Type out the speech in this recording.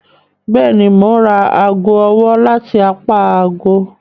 Bẹẹni, Mo n ra aago ọwọ lati apá ààgo